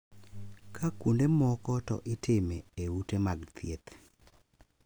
Ka kuonde moko to itime e ute mag thieth.